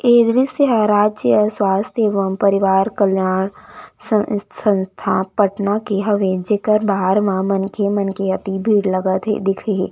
ए दृस्य हे राज्य स्वस्थ एवं परिवार कल्याण संस्था पटना हवे जेकर बाहर म मनखे मन के अति भीड़ लगत हे दिखे हे।